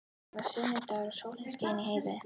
Það var sunnudagur og sól skein í heiði.